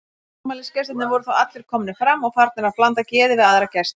Afmælisgestirnir voru þá allir komnir fram og farnir að blanda geði við aðra gesti.